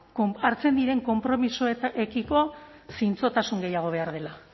hartzen diren konpromisoekiko zintzotasun gehiago behar dela